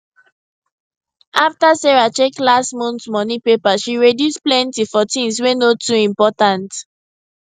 after sarah check last month money paper she reduce plenty for things wey no too important